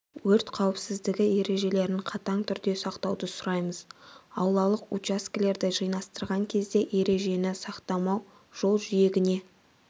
өрт қауіпсіздігі ережелерін қатаң түрде сақтауды сұраймыз аулалық учаскелерді жинастырған кезде ережені сақтамау жол жиегіне